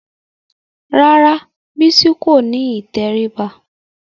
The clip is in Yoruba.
Rárá Bísí kò ní ìtẹríba